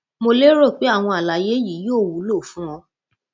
mo lérò pé àwọn àlàyé yìí yóò wúlò fún ọ